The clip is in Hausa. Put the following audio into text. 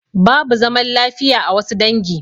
Babu zaman lafiya a wassu dangi